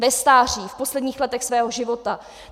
Ve stáří, v posledních letech svého života.